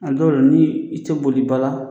A dɔw la ni i tɛ boliba la